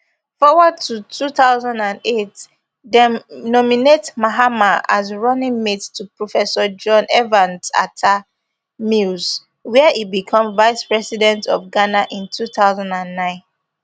forward to two thousand and eight dem nominate mahama as running mate to professor john evans atta mills wia e become vice president of ghana in two thousand and nine